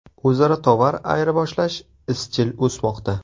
O‘zaro tovar ayirboshlash izchil o‘smoqda.